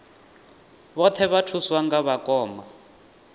vhoṱhe vha thuswa nga vhakoma